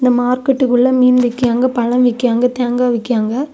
இந்த மார்க்கெட் குள்ள மீன் விக்கியாங்க. பழம் விக்கியாங்க. தேங்கா விக்கியாங்க.